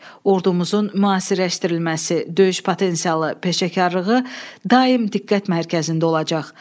Ordumuzun müasirləşdirilməsi, döyüş potensialı, peşəkarlığı daim diqqət mərkəzində olacaq.